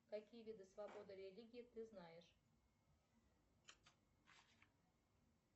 какие виды свободы религии ты знаешь